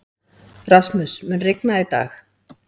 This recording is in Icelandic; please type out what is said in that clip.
Rasmus, mun rigna í dag?